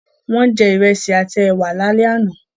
Wọ́n jẹ Ìrẹ́sì àti ẹwà lálẹ́ àná